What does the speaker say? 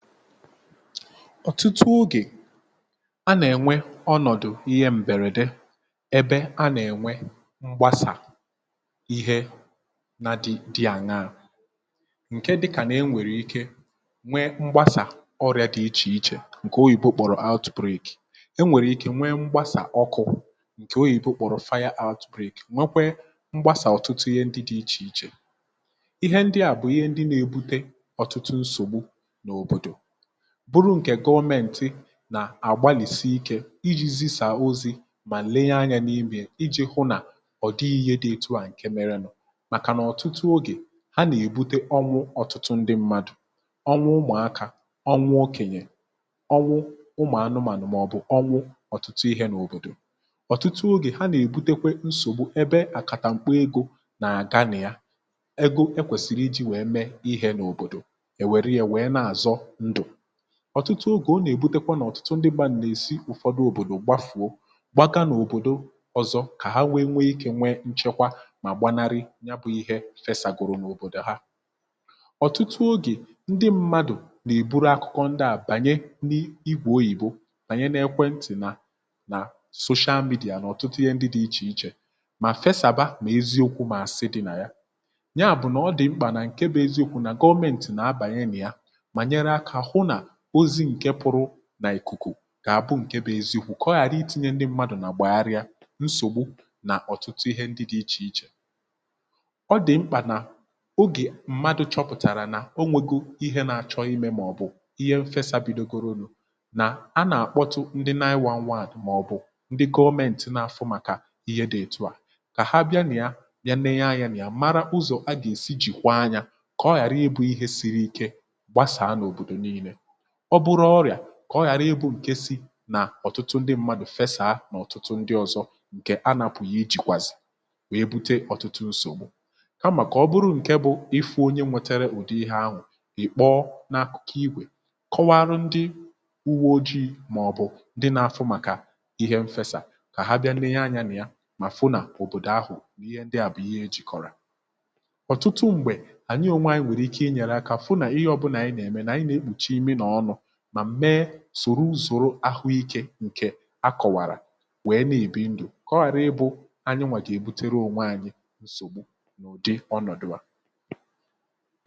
ọ̀tụtụ ogè a nà-ènwe ọnọ̀dụ̀ ihe m̀bèrède ebe a nà-ènwe mgbasà ihe na dị àṅaȧ ǹke dịkà nà e nwèrè ike nwe mgbasà ọrịȧ dị ichè ichè um ǹkè oyìbo kpọ̀rọ̀ out toief enwèrè ike nwe mgbasà ọkụ̇ ǹkè oyìbo kpọ̀rọ̀ out toief nwekwe mgbasà ọtụtụ ihe ndị dị ichè ichè ihe ndị à bụ̀ ihe ndị nà-ebute ọ̀tụtụ nsògbu n’òbòdò bụrụ ǹkè gọọmenti nà-àgbalìsi ikė iji̇ zi̇sà ozi̇ mà lenye anyȧ n’imì iji̇ hụ nà ọ̀ dịghị ihe dị etu à ǹke mere nọ̀ màkà nà ọ̀tụtụ ogè ha nà-èbute ọnwụ ọ̀tụtụ ndị mmadụ̀ ọnwụ ụmụ̀akȧ um ọnwụ okènyè ọnwụ ụmụ̀anụmànụ̀ màọbụ̀ ọnwụ ọ̀tụtụ ihe nà òbòdò ọ̀tụtụ ogè ha nà-èbutekwe nsògbu ebe àkàtà m̀kpa egȯ nà àga nà ya ego ekwèsìrì iji̇ wèe mee ihe nà òbòdò ọ̀tụtụ ogè ọ nà-èbutekwa nà ọ̀tụtụ ndị gbȧ nà-èsi ụ̀fọdụ òbòdò gbafuo gbagaa n’òbòdo ọzọ kà ha nwee nweikė nwee nchekwa mà gbanarị ya bụ̇ ihe fesàgòrò n’òbòdò ha ọ̀tụtụ ogè ndị mmadụ̀ nà-èburu akụkọ ndị à bànye n’igwȧ oyìbo bànye n’ekwe ntị̀ nà nà soshal mìdìà nà ọ̀tụtụ ihe ndị dị̇ ichè ichè um mà fesàba mà eziokwu mà àsị dị nà ya nyaà bụ̀ nà ọ dị mkpànà ǹke bụ̇ eziokwu nà gọmentì nà abànye nà ya nà ìkùkù kà àbụ ǹke bụ̇ eziikwù um kà ọ ghàrị iti̇nye ndị mmadụ̀ nà gbàgharịa nsògbu n’ọ̀tụtụ ihe ndị dị̇ ichè ichè ọ dị̀ mkpà nà ogè mmadụ̇ chọpụ̀tàrà nà o nwėghi̇ ihe na-achọ imė màọbụ̀ ihe m fesa bidogoronu̇ nà a nà-àkpọtụ ndị nine-one-one màọbụ̀ ndị gọọmenti n’afụ màkà ihe dị̇ etu à kà ha bịa nà ya um ya neye anya nà ya mara ụzọ̀ a gà-èsi jìkwa anyȧ um kà ọ ghàrị ebù ihe siri ike ọ bụrọ ọrịà um kà ọ ghara ịbụ̇ ǹkesi nà ọ̀tụtụ ndị mmadụ̀ fesa nà ọ̀tụtụ ndị ọzọ ǹkè anàpụ̀ ihe jìkwàzì wèe bute ọ̀tụtụ ǹsògbù ka mà kà ọ bụrụ ǹke bụ̇ ifu̇ onye nwetere ùdị ihe ahụ̀ ìkpọ n’akụ̀ kà igwè kọwara ndị uwe ojii̇ màọbụ̀ ndị nà afọ màkà ihe m fesa kà ha bịa nne ihe anyȧ nà ya mà fụ nà òbòdò ahụ̀ ihe ndị à bụ̀ ihe e jìkọ̀rọ̀ ọ̀tụtụm̀gbè ànyị ònwe anyị nwèrè ike ị nyèrè akȧ fụ nà ihe ọbụnà ànyị nà-ème sòro ùzòrò ahụikė ǹkè a kọ̀wàrà nwèe na-èbi ndụ̀ kọgbàrà um ịbụ̇ anyị nwà gà-èbutere ọnwa anyị̇ nsògbu um n’ụ̀dị ọnọ̀dụ̀wa.